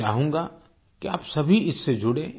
मैं चाहूँगा कि आप सभी इससे जुड़े